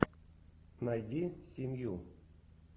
найди семью